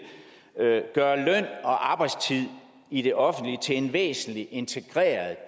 gøre løn og arbejdstid i det offentlige til en væsentlig integreret